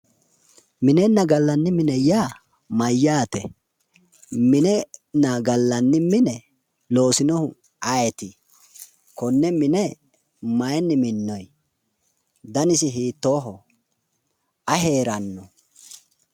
Minenna gallanni mine yaa mayyaate? Minenna gallanni mine loosinohu ayeeti? Konne mine mayinni minnoonni? Danisi hiittoho aye heeranno?